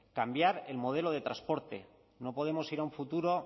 cambiar el modelo de transporte no podemos ir a un futuro